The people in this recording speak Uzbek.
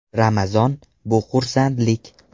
Ramazon – bu xursandlik.